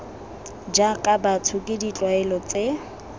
jaaka batho ke ditlwaelo tse